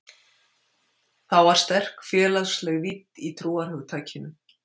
Þá var sterk félagsleg vídd í trúarhugtakinu.